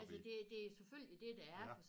Altså det det selvfølgelig det det er